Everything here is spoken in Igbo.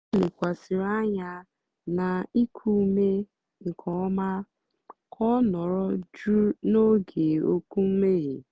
ó lékwàsị̀rị́ ányá nà íkú úmé nkè ọ́má kà ọ́ nọ̀rọ̀ jụ́ụ́ n'ógé ókwú mmèghe.